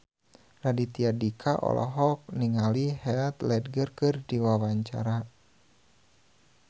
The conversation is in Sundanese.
Raditya Dika olohok ningali Heath Ledger keur diwawancara